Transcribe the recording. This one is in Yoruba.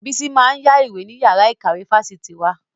Bísí máa ń yá ìwé ní yàrá ìkàwé fáṣitì wa